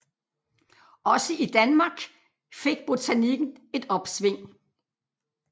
Også i Danmark fik botanikken et opsving